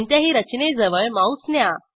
कोणत्याही रचनेजवळ माऊस न्या